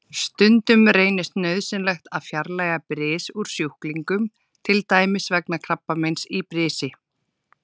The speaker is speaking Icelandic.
Stundum reynist nauðsynlegt að fjarlægja bris úr sjúklingum, til dæmis vegna krabbameins í brisi.